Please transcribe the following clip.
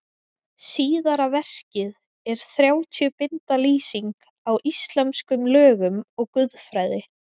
Síðara verkið er þrjátíu binda lýsing á íslömskum lögum og guðfræði.